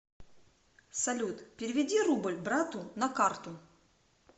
салют переведи рубль брату на карту